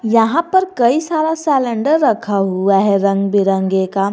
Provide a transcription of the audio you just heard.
यहां पर कइ सारा सिलेंडर रखे हुए हैं रंग बिरंगे का।